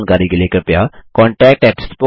अधिक जानकारी के लिए कृपया contactspoken tutorialorg पर लिखें